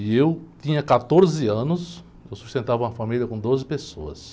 E eu tinha quatorze anos, eu sustentava uma família com doze pessoas.